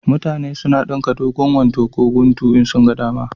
Mutane na dinka dogon wando ko guntu in sun ga dama